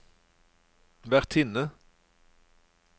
vertinne